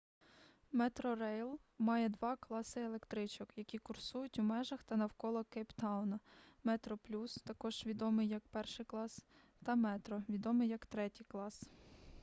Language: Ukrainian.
метрорейл має два класи електричок які курсують у межах та навколо кейптауна: метроплюс також відомий як перший клас та метро відомий як третій клас